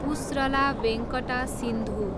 Pusarla Venkata Sindhu